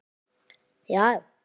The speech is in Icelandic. Já, já.